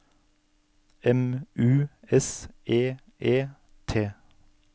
M U S E E T